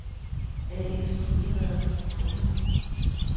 A/S Hundevad & Co